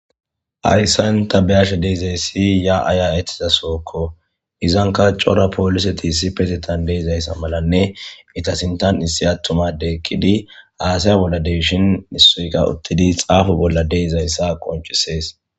Hayssan ta be'ashe de'izayssi yaa'a yaa'etizasokko izanka cora pooliseti issipetetan de'izayssa malanne eeta sintan issi attuma addey eqqidi haasaya bolla de'ishin issoykka uttidi xaafo bolla de'izayssa qonccisees.